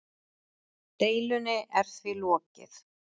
Deilunni er því lokið.